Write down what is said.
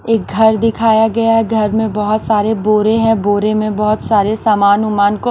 एक घर दिखाया गया है घर में बहुत सारे बोरे हैं बोरे में बहुत सारे सामान उमान को--